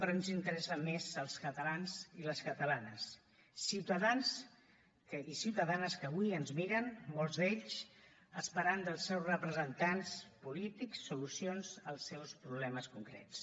però ens interessen més els catalans i les catalanes ciutadans i ciutadanes que avui ens miren molts d’ells esperant dels seus representants polítics solucions als seus problemes concrets